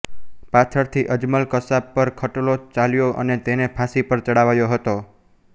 પાછળથી અજમલ કસાબ પર ખટલો ચાલ્યો અને તેને ફાંસી પર ચડાવાયો હતો